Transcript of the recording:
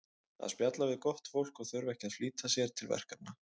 að spjalla við gott fólk og þurfa ekki að flýta sér til verkefna